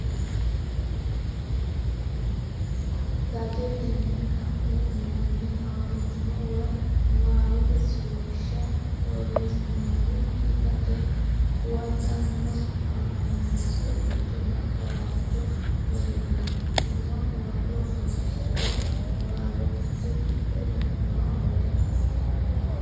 Tajetenni ka ne uynanni huwanyo woy niwaawete suwashshu borreesinoonnikki taje huwatanna huwanyote injo nabbawaanchu woyyitino huwato horonsi re niwaawe fiche tidhate dandoo amaddino.